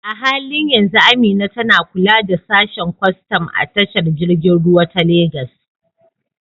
A halin yanzu Amina tana kula da sashen kwastam a tashar jirgin ruwa ta Legas.